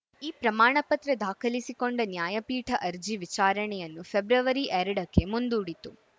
ಈ ಪ್ರಮಾಣಪತ್ರ ದಾಖಲಿಸಿಕೊಂಡ ನ್ಯಾಯಪೀಠ ಅರ್ಜಿ ವಿಚಾರಣೆಯನ್ನು ಫೆಬ್ರವರಿ ಎರಡಕ್ಕೆ ಮುಂದೂಡಿತು